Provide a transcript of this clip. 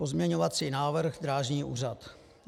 Pozměňovací návrh Drážní úřad.